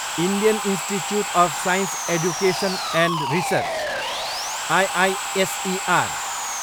Indian Institute of Science Education and Research, IISER